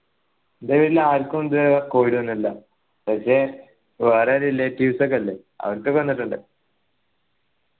എൻ്റെ വീട്ടിൽ ആരിക്കും ഇത് വരെ covid വന്നില്ല പക്ഷെ വേറെ relatives ഒക്കെ ഇണ്ട് അവർക്കൊക്കെ വന്നിട്ടിണ്ട്